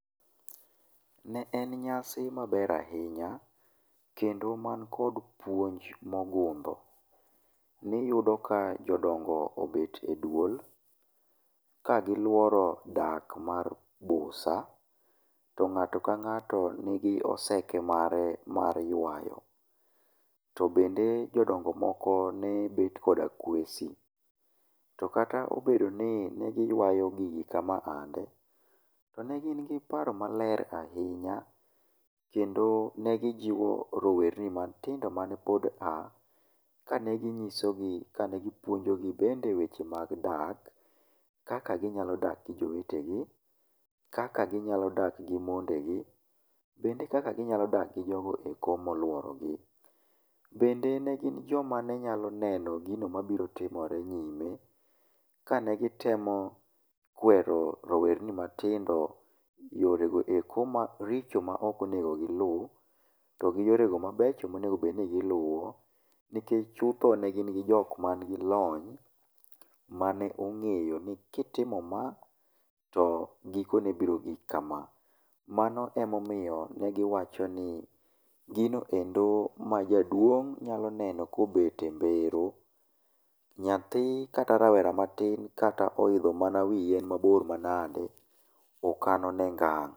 Ne en nyasi maber ahinya, kendo man kod puonjo mogundho. Niyudo ka jodongo obet e duol ka gi luoro dak mar busa. To ng'ato ka ng'ato nigi oseke mare mar ywayo. To bende jodongo moko ne bet koda kwesi. To kata obedo ni negi ywayo gigi kama ande, ne gin gi paro maler ahinya kendo ne gijiwo rowerni matindo mane pod aah, kane ginyiso gi kane gipuonjo gi bende weche mag dak. Kaka ginyalo dak gi jowete gi, kaka ginyalo dak gi monde gi, bende kaka ginyalo dak gi jogo e koo moluoro gi. Bende ne gin joma nenyalo neno gino mabiro timore nyime, ka ne gitemo kwero rowerni matindo yore goeko maricho ma ok onego giluw, to gi yore mabecho ma onego bedni giluwo. Nikech chutho ne gin gi jok man gi lony, mane ong'eyo ni kitimo ma, to giko ne biro gik kama. Mano emomiyo ne giwacho ni ginoendo ma jaduong' nyalo neno kobet e mbero, nyathi kata rawera matin kata oidho mana wi yien mabor manade, okan one ngang'.